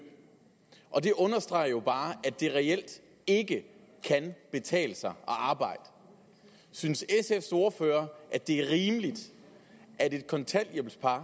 og det understreger jo bare at det reelt ikke kan betale sig at arbejde synes sfs ordfører at det er rimeligt at et kontanthjælpspar